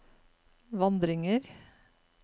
vandringer